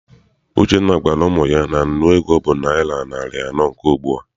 Uchenna gwara ụmụ ya na nnu ego bụ naịra narị anọ nke ugbua.